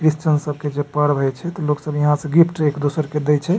Christian सब के जे पर्व हई छै त लोग सब इहाँ से गिफ्ट एक दुसर के देइ छै।